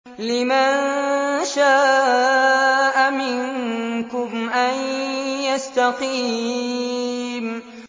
لِمَن شَاءَ مِنكُمْ أَن يَسْتَقِيمَ